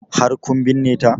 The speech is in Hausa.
Har kun binne ta?